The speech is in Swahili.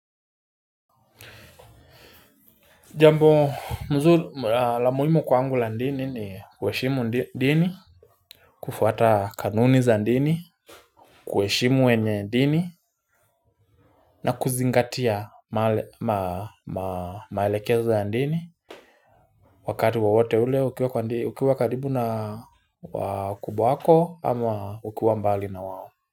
Jambo mzu la muhimu kwangu la dini ni kuheshimu dini. Kufuata kanuni za dini. Kuheshimu wenye dini na kuzingatia maelekezo ya dini. Wakati wowote ule ukiwa karibu na wakubwa wako ama ukiwa mbali na wao.